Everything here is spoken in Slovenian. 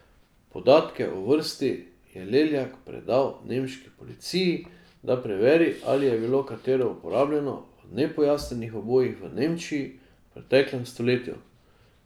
Podatke o vrsti je Leljak predal nemški policiji, da preveri, ali je bilo katero uporabljeno v nepojasnjenih ubojih v Nemčiji v preteklem stoletju.